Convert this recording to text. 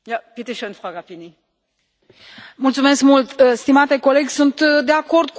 Mulțumesc mult, stimate coleg sunt de acord cu multe din câte ați spus dumneavoastră.